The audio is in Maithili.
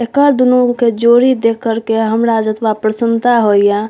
एकर दुनू के जोड़ी देख कर के हमरा जतबा प्रसन्नता होय या --